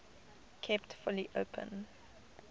kept fully open